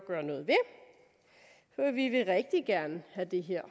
at vi vil rigtig gerne have det her